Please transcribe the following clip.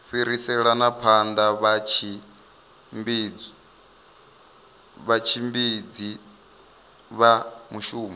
fhiriselani phanda vhatshimbidzi vha mushumo